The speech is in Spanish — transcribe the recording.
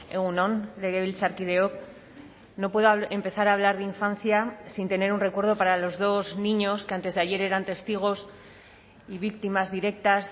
egun on legebiltzarkideok no puedo empezar a hablar de infancia sin tener un recuerdo para los dos niños que antes de ayer eran testigos y víctimas directas